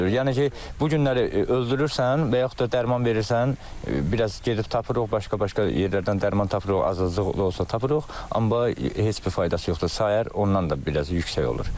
Yəni ki, bu günləri öldürürsən və yaxud da dərman verirsən, biraz gedib tapırıq, başqa-başqa yerlərdən dərman tapırıq, azlıq da olsa tapırıq, amma heç bir faydası yoxdur, sayər ondan da biraz yüksək olur.